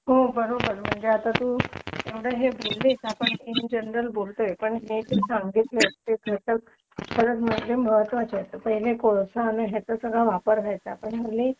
हो बरोबर म्हणजे आता तू हे बोललीस ना हे इंनजनरल बोलतोय पण हे तू सांगितलंस ते खरं महत्त्वाचे आहेत पहिले कोळसा आणि याचा वापर व्हायचा पण यांनी